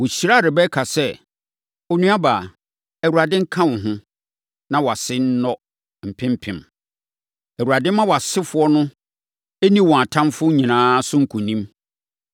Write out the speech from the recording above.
Wɔhyiraa Rebeka sɛ, “Onuabaa, Awurade nka wo ho, na wʼase nnɔ mpempem! Awurade mma wʼasefoɔ no nni wɔn atamfoɔ nyinaa so nkonim.”